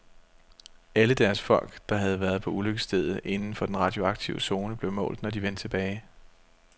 Alle deres folk, der havde været på ulykkesstedet inden for den radioaktive zone, blev målt, når de vendte tilbage.